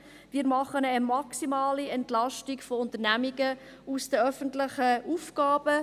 Wir machen eine maximale Entlastung von Unternehmungen aus den öffentlichen Aufgaben.